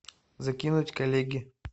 закинуть коллеге